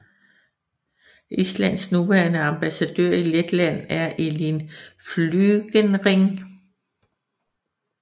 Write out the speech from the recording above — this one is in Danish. Islands nuværende ambassadør i Letland er Elín Flygenring